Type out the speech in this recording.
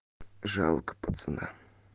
жалко пацана